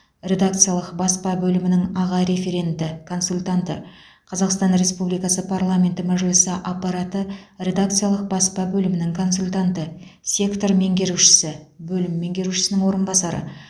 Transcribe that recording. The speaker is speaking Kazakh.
редакциялық баспа бөлімінің аға референті консультанты қазақстан республикасы парламенті мәжілісі аппараты редакциялық баспа бөлімінің консультанты сектор меңгерушісі бөлім меңгерушісінің орынбасары